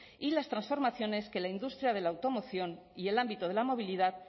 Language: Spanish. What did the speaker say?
y las transformaciones que la industria de la automoción y el ámbito de la movilidad